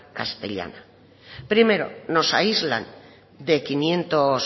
castellana primero nos aíslan de quinientos